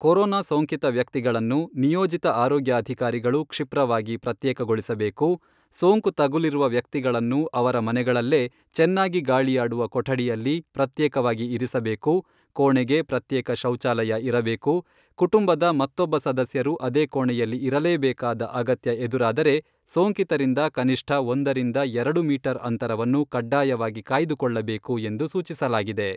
Corona ಸೋಂಕಿತ ವ್ಯಕ್ತಿಗಳನ್ನು ನಿಯೋಜಿತ ಆರೋಗ್ಯಾಧಿಕಾರಿಗಳು ಕ್ಷಿಪ್ರವಾಗಿ ಪ್ರತ್ಯೇಕಗೊಳಿಸಬೇಕು, ಸೋಂಕು ತಗುಲಿರುವ ವ್ಯಕ್ತಿಗಳನ್ನು ಅವರ ಮನೆಗಳಲ್ಲೇ ಚೆನ್ನಾಗಿ ಗಾಳಿಯಾಡುವ ಕೊಠಡಿಯಲ್ಲಿ ಪ್ರತ್ಯೇಕವಾಗಿ ಇರಿಸಬೇಕು, ಕೋಣೆಗೆ ಪ್ರತ್ಯೇಕ ಶೌಚಾಲಯ ಇರಬೇಕು, ಕುಟುಂಬದ ಮತ್ತೊಬ್ಬ ಸದಸ್ಯರು ಅದೇ ಕೊಣೆಯಲ್ಲಿ ಇರಲೇಬೇಕಾದ ಅಗತ್ಯ ಎದುರಾದರೆ, ಸೋಂಕಿತರಿಂದ ಕನಿಷ್ಠ ಒಂದರಿಂದ ಎರಡು ಮೀಟರ್ ಅಂತರವನ್ನು ಕಡ್ಡಾಯವಾಗಿ ಕಾಯ್ದುಕೊಳ್ಳಬೇಕು ಎಂದು ಸೂಚಿಸಲಾಗಿದೆ.